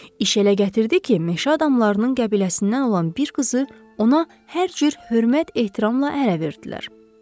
İş elə gətirdi ki, meşə adamlarının qəbiləsindən olan bir qızı ona hər cür hörmət-ehtiramla ərə verdilər.